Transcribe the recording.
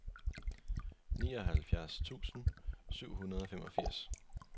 nioghalvfjerds tusind syv hundrede og femogfirs